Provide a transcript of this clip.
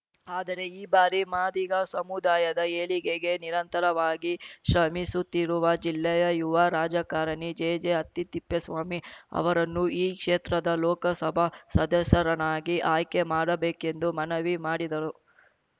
ಆದರೆ ಈ ಬಾರಿ ಮಾದಿಗ ಸಮುದಾಯದ ಏಳಿಗೆಗೆ ನಿರಂತರವಾಗಿ ಶ್ರಮಿಸುತ್ತಿರುವ ಜಿಲ್ಲೆಯ ಯುವ ರಾಜಕಾರಣಿ ಜೆಜೆಹಟ್ಟಿತಿಪ್ಪೇಸ್ವಾಮಿ ಅವರನ್ನು ಈ ಕ್ಷೇತ್ರದ ಲೋಕಸಭಾ ಸದಸ್ಯರನ್ನಾಗಿ ಆಯ್ಕೆ ಮಾಡಬೇಕೆಂದು ಮನವಿ ಮಾಡಿದರು